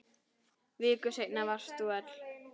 Viku seinna varst þú öll.